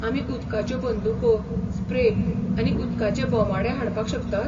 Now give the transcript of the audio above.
आमी उदकाच्यो बंदूको, स्प्रे आनी उदकाचे बोमाडे हाडपाक शकतात?